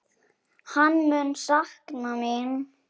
Hann mun sakna mín.